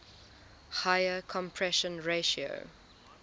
higher compression ratio